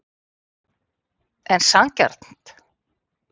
En sanngjarnt?